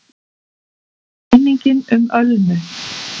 MINNINGIN UM ÖLMU